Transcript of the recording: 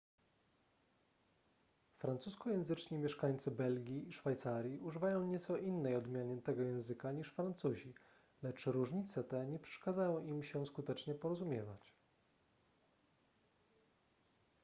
francuskojęzyczni mieszkańcy belgii i szwajcarii używają nieco innej odmiany tego języka niż francuzi lecz różnice te nie przeszkadzają im się skutecznie porozumiewać